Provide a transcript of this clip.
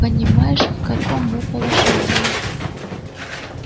понимаешь в каком мы положении